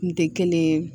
Kun tɛ kelen ye